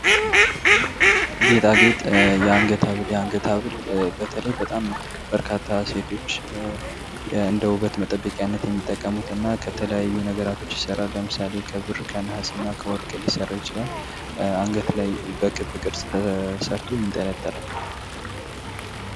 ጌጣጌጥ የአንገት ሀብል በተለይ በጣም በርካታ ሴቶች እንደ ውበት መጠበቅነት የሚጠቀሙት እና ከተለያዩ ነገሮች የተሠራ ለምሳሌ ክብር ከነሃስና ከወርቅ ሊሰራ ይችላል አንገት ላይ በግብ ቅርጽ ተሰርቶ ይንጠላጠላል።